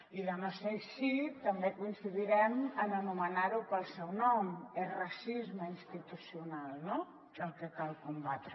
i de no ser així també coincidirem en anomenar ho pel seu nom és racisme institucional no el que cal combatre